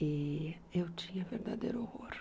E eu tinha verdadeiro horror.